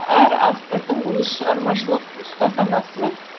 әр автордың өз шығармашылық ұстаханасы бар